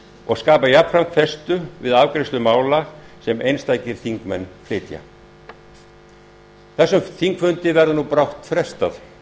og skapa jafnframt festu við afgreiðslu mála sem einstakir þingmenn flytja þessum þingfundi verður nú brátt frestað